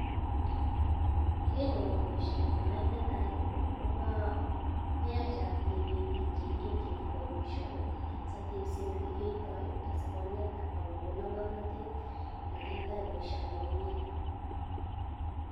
Kerenyun akoba baishoni ko netai koyache ateben bik cheigen chekikwai baishoni satebsen ilekiyoitoi asikonet akokon ngamnatet ilekiyoitoi baishoni komie